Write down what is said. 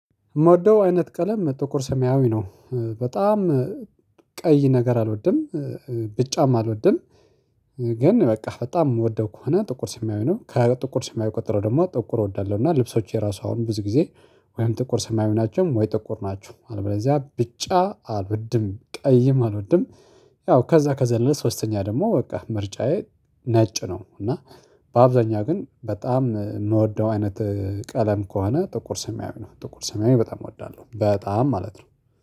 የምወደው አይነት ቀለም ጥቁር ሰሚያዊ ነው። በጣም ቀይ ነገር አልወድም። ቢጫም አልወድም። ግን በቃ በጣም የምወደው ከሆነ ጥቁር ሰማያዊ ነው ከጥቁር ሰማያዊ ቀጥሎ ደግሞ ጥቁር እወዳለሁ። እና ልብሶች የራሱ አሁን ብዙ ጊዜ ወይም ጥቁር ሰማያዊ ናቸው ወይ ጥቁር ናቸው አለበለዚያ ቢጫ አልወድም ቀይም አልወድም። ያው ከዛ ከዘለለ ሶስተኛ ደግሞ በቃ ምርጫዬ ነጭ ነው። እና በአብዛኛው ግን በጣም የምወደው አይነት ቀለም ከሆነ ጥቁር ሰማያዊ ነው። ጥቁር ሰማያዊ በጣም እወዳለሁ በጣም ማለት ነው